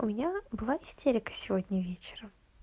у меня была истерика сегодня вечером